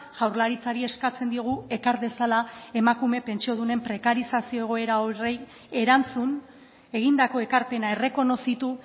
jaurlaritzari eskatzen diogu ekar dezala emakume pentsiodunen prekarizazio egoera horri erantzun egindako ekarpena errekonozitu